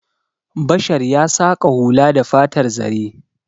Bashar ya saƙa hula da fatar zare.